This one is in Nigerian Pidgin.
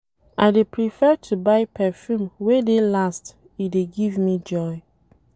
I dey prefer to buy perfume wey dey last, e dey give me joy.